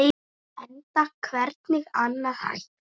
Enda hvernig annað hægt?